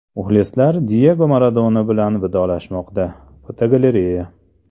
Muxlislar Diyego Maradona bilan vidolashmoqda (fotogalereya).